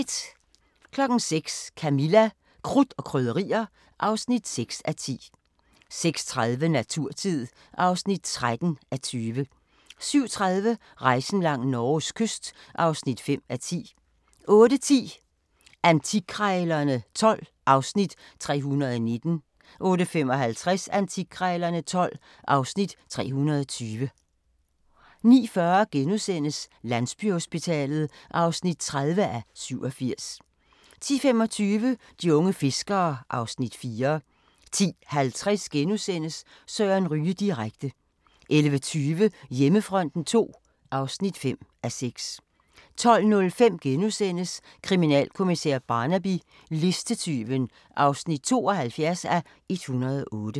06:00: Camilla – Krudt og Krydderier (6:10) 06:30: Naturtid (13:20) 07:30: Rejsen langs Norges kyst (5:10) 08:10: Antikkrejlerne XII (Afs. 319) 08:55: Antikkrejlerne XII (Afs. 320) 09:40: Landsbyhospitalet (30:87)* 10:25: De unge fiskere (Afs. 4) 10:50: Søren Ryge direkte * 11:20: Hjemmefronten II (5:6) 12:05: Kriminalkommissær Barnaby: Listetyven (72:108)*